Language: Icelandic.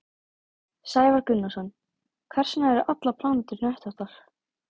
Sævar Gunnarsson: Hvers vegna eru allar plánetur hnöttóttar?